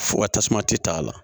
Fo ka tasuma tɛ taa a la